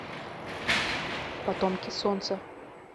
потомки солнца